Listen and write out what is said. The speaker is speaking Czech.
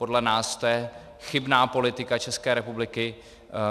Podle nás to je chybná politika České republiky.